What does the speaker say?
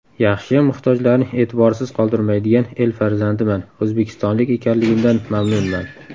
Yaxshiyam muhtojlarni e’tiborsiz qoldirmaydigan el farzandiman, o‘zbekistonlik ekanligimdan mamnunman”.